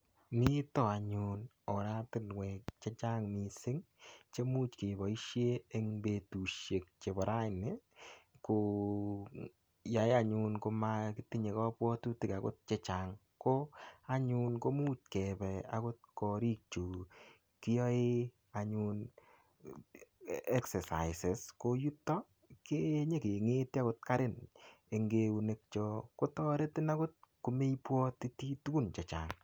Mito anyun oratinwek che chang mising chemuch keboishe eng betushek chebo raini koyai anyun komakitinye kapwatutik akot chechang ko anyun komuch kebe korik chu kiyoe anyun exercises koyuto kenyekengeti akot karin eng keunek cho kotoretin akot komeibwotiti tukun che chang.